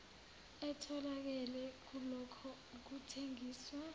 etholakele kulokho kuthengiswa